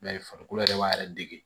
Mɛ farikolo yɛrɛ b'a yɛrɛ dege